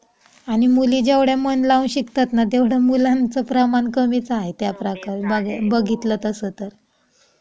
आणि मुली जेवढ्या मन लावून शिकतात तेवढ्या मुलांचे प्रमाण कमीच आहे बघतील तासा तर.